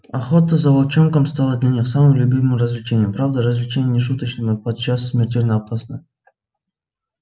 охота за волчонком стала для них самым любимым развлечением правда развлечением не шуточным и подчас смертельно опасно